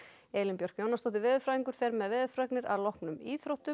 Elín Björk Jónasdóttir veðurfræðingur fer með veðurfregnir að loknum íþróttum